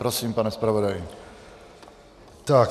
Prosím, pane zpravodaji.